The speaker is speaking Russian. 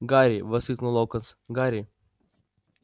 гарри воскликнул локонс гарри